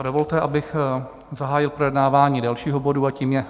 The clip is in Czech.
A dovolte, abych zahájil projednávání dalšího bodu, a tím je